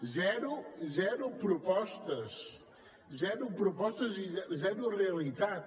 zero zero propostes zero propostes i zero realitat